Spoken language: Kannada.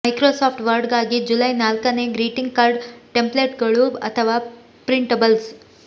ಮೈಕ್ರೋಸಾಫ್ಟ್ ವರ್ಡ್ಗಾಗಿ ಜುಲೈ ನಾಲ್ಕನೇ ಗ್ರೀಟಿಂಗ್ ಕಾರ್ಡ್ ಟೆಂಪ್ಲೇಟ್ಗಳು ಅಥವಾ ಪ್ರಿಂಟ್ಬಲ್ಸ್